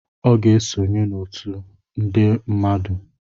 Ọ ga-esonye n'otu nde mmadụ